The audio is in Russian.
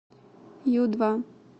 ю два